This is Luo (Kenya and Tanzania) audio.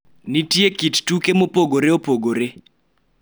Nitie kit tuke mopogore opogore